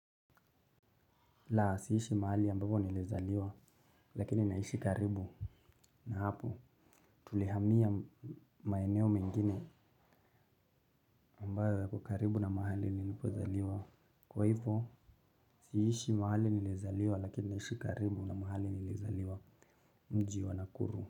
La siishi mahali ambapo nilizaliwa lakini naishi karibu na hapo tulihamia maeneo mengine ambayo yako karibu na mahali nilipozaliwa. Kwa hivyo siishi mahali nilizaliwa lakini naishi karibu na mahali nilizaliwa mji wa Nakuru.